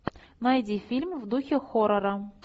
найди фильм в духе хоррора